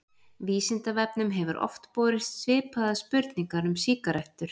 Vísindavefnum hefur oft borist svipaðar spurningar um sígarettur.